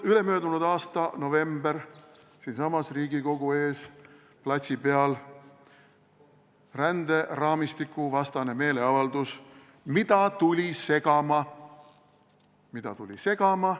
Ülemöödunud aasta november, siinsamas Riigikogu ees platsi peal ränderaamistikuvastane meeleavaldus, mida tuli segama – mida tuli segama!